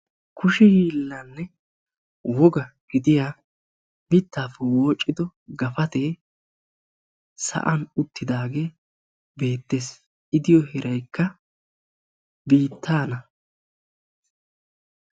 Kushe hiilanne woga gidiya mittaappe woocido gafatee sa'an uttidaagee beettes,I diyo heeraykka biittaana.